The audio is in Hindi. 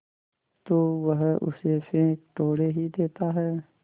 तो वह उसे फेंक थोड़े ही देता है